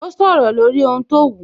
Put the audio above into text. Ó sọ̀rọ̀ lórí ohun tó wù